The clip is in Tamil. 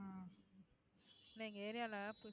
இல்லை எங்க area ல